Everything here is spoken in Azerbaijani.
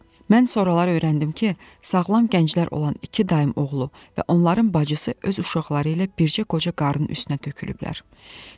Mən sonralar öyrəndim ki, sağlam gənclər olan iki dayım oğlu və onların bacısı öz uşaqları ilə bircə qoca qarın üstünə tökülüblər.